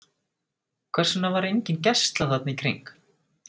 Hvers vegna var engin gæsla þarna í kring?